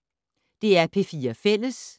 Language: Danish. DR P4 Fælles